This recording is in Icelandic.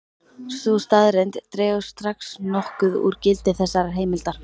Sú staðreynd dregur strax nokkuð úr gildi þessarar heimildar.